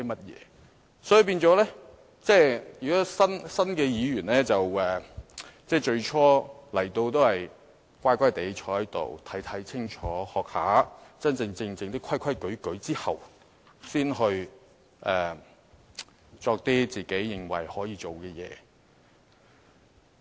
因此，新的議員在最初進入議會時，應該乖乖地坐在席上看清楚情況、學習一下，在學會真正的規矩後，才去做一些個人認為可以做的事情。